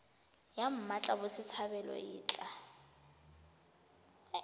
ya mmatla botshabelo e tla